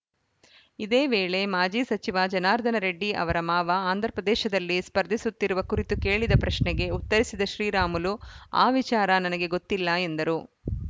ಇದೇವೇಳೆ ಮಾಜಿ ಸಚಿವ ಜನಾರ್ದನ ರೆಡ್ಡಿ ಅವರ ಮಾವ ಆಂಧ್ರಪ್ರದೇಶದಲ್ಲಿ ಸ್ಪರ್ಧಿಸುತ್ತಿರುವ ಕುರಿತು ಕೇಳಿದ ಪ್ರಶ್ನೆಗೆ ಉತ್ತರಿಸಿದ ಶ್ರೀರಾಮುಲು ಆ ವಿಚಾರ ನನಗೆ ಗೊತ್ತಿಲ್ಲ ಎಂದರು